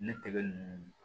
Ne tɛgɛ ninnu